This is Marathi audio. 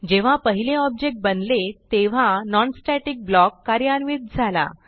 जेव्हा पहिले ऑब्जेक्ट बनले तेव्हा non स्टॅटिक ब्लॉक कार्यान्वित झाला